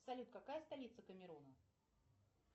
салют какая столица камеруна